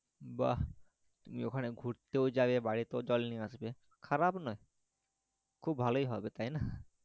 বাহ তুমি ওখানে ঘুরতেও যাবে বাড়িতেও জল নিয়ে আসবে খারাপ নয় খুব ভালোই হবে তাইনা